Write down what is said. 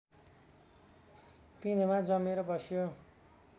पिँधमा जमेर बस्यो